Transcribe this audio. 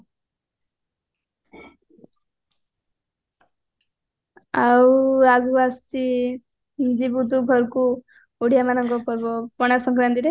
ଆଉ ଆଗକୁ ଆସୁଚି ଯିବୁ ତୁ ଘରକୁ ଓଡିଆ ମାନଙ୍କ ପର୍ବ ପଣା ସଙ୍କରାନ୍ତିରେ